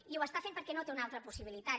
i ho està fent perquè no té una altra possibilitat